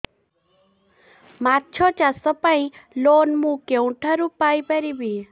ମାଛ ଚାଷ ପାଇଁ ଲୋନ୍ ମୁଁ କେଉଁଠାରୁ ପାଇପାରିବି